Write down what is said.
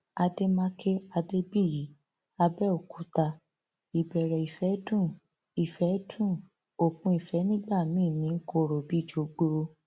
àdèmàkè adébíyí àbẹòkúta ìbẹrẹ ìfẹ dùn ìfẹ dùn òpin ìfẹ nígbà míín ní i kọrọ bíi jọgbọ